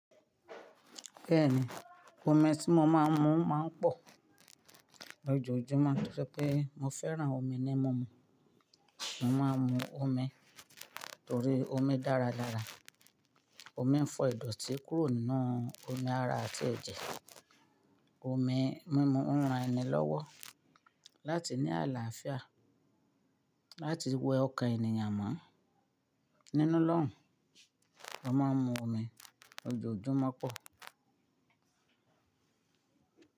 Bẹ́ẹ̀ni, omi tí mo máa ń mu máa ń pọ̀ lójoojúmọ́. Tó jẹ pé mo fẹ́ràn omi ní mumu. Mo máa ń mu omi torí omi dára lára. Omi ń fọ ìdọ̀tí kúrò nínú omi ara àti ẹ̀jẹ̀. Omi mi mu òun ràn ẹni lọwọ láti ní alafia láti wẹ ọkàn ènìyàn mọ. Nínú lọ́un, mo máa ń mu omi lójoojúmọ́ pọ̀.